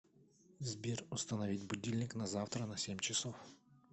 сбер установить будильник на завтра на семь часов